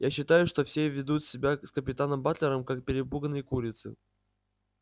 я считаю что все ведут себя с капитаном батлером как перепуганные курицы